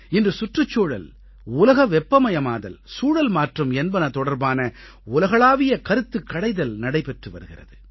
இன்று சுற்றுச்சூழல் உலக வெப்பமயமாதல் சூழல்மாற்றம் என்பன தொடர்பான உலகளாவிய கருத்துக் கடைதல் நடைபெற்று வருகிறது